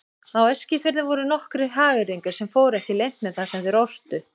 Á Eskifirði voru nokkrir hagyrðingar sem fóru ekki leynt með það sem þeir ortu.